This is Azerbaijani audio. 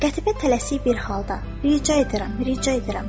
Qətibə tələsik bir halda rica edirəm, rica edirəm.